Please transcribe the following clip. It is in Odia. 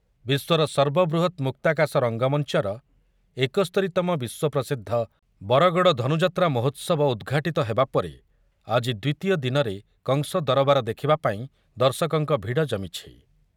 ବିଶ୍ୱର ସର୍ବବୃହତ ମୁକ୍ତାକାଶ ରଙ୍ଗମଞ୍ଚର ଏକସ୍ତୋରିତମ ବିଶ୍ୱପ୍ରସିଦ୍ଧ ବରଗଡ଼ ଧନୁଯାତ୍ରା ମହୋତ୍ସବ ଉଦ୍‌ଘାଟିତ ହେବା ପରେ ଆଜି ଦ୍ୱିତୀୟ ଦିନରେ କଂସ ଦରବାର ଦେଖିବା ପାଇଁ ଦର୍ଶକଙ୍କ ଭିଡ଼ ଜମିଛି ।